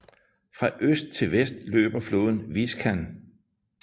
Fra øst til vest løber floden Viskan